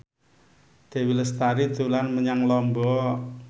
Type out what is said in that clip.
Dewi Lestari dolan menyang Lombok